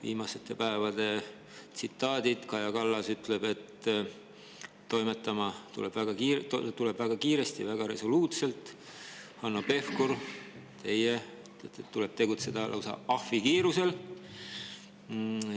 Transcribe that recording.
Viimaste päevade tsitaadid: Kaja Kallas ütleb, et toimetada tuleb väga kiiresti, väga resoluutselt, Hanno Pevkur ja teie, et tuleb tegutseda lausa ahvikiirusel.